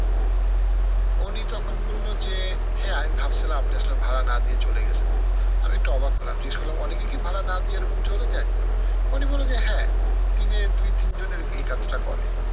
উনি তখন বললো যে, হ্যাঁ আমি ভাবছিলাম আপনি আসলে ভাড়া না দিয়ে চলে গেছেন। আমি একটু অবাক হলাম জিজ্ঞেস করলাম অনেকে কি ভাড়া না দিয়ে এরকম চলে যায়? উনি বললে যে হ্যাঁ, দিনে দুই তিনজন এই এই কাজটা করে।